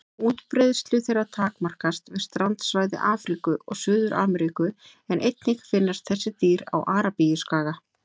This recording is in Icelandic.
Útbreiðslu þeirra takmarkast við strandsvæði Afríku og Suður-Ameríku en einnig finnast þessi dýr á Arabíuskaga.